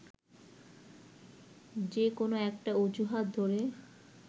যে কোনো একটা অজুহাত ধরে